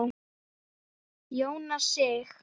Jónas Sig.